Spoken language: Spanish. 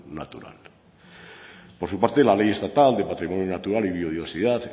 natural por su parte la ley estatal de patrimonio natural y biodiversidad